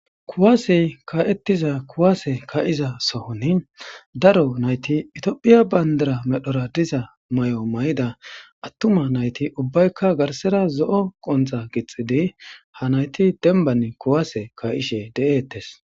kuwaasey ka'ettiza kuwaase ka'iza sohoni daro nayti itiophiya bandara medhora diza mayo mayida attuma nayti ubbaykka garsera zo'o qonxa gixxidi ha nayti denban kuwaase ka'ishe de7eettes.